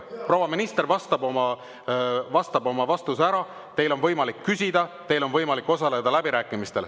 Proua minister vastab ära, siis on teil võimalik küsida ja teil on ka võimalik osaleda läbirääkimistel.